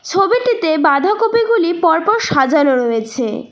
ছবিটিতে বাধাকপিগুলি পরপর সাজানো রয়েছে।